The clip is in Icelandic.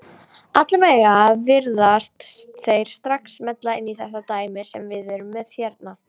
Allavega virðast þeir strax smella inn í þetta dæmi sem við erum með hérna.